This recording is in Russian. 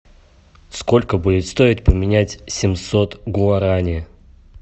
сколько будет стоить поменять семьсот гуарани